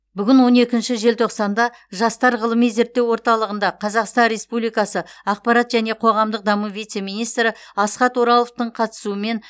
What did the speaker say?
бүгін он екінші желтоқсанда жастар ғылыми зерттеу орталығында қазақстан республикасы ақпарат және қоғамдық даму вице министрі асхат ораловтың қатысуымен